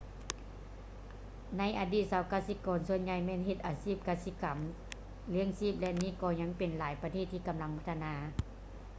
ໃນອະດີດຊາວກະສິກອນສ່ວນໃຫຍ່ແມ່ນເຮັດອາຊີບກະສິກຳລ້ຽງຊີບ ແລະ ນີ້ກໍຍັງເປັນໃນຫຼາຍປະເທດທີ່ກຳລັງພັດທະນາ